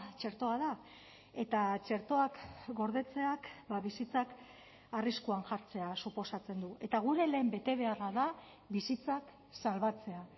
txertoa da eta txertoak gordetzeak bizitzak arriskuan jartzea suposatzen du eta gure lehen betebeharra da bizitzak salbatzea